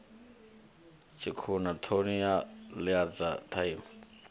tshikhuna thomi a ḽidza tsaṅwa